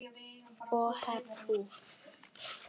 Og hep tú.